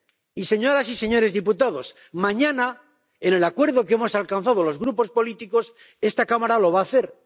Y, señoras y señores diputados, mañana, con el acuerdo que hemos alcanzado los grupos políticos, esta Cámara lo va a hacer.